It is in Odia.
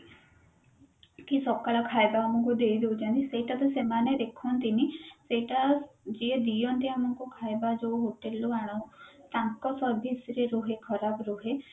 କି ସକଳ ଖାଇବା ଆମକୁ ଦେଇଦଉଛନ୍ତି ସେଇଟା ତ ସେମାନେ ଦେଖନ୍ତି ନି ସେଇଟା ଯିଏ ଦିଅନ୍ତି ଆମକୁ ଯୋଉ hotel ରୁ ଆଣନ୍ତି ତାଙ୍କ service ରେ ରୁହେ ଖରାପ ରୁହେ